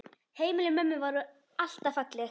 Heimili mömmu voru alltaf falleg.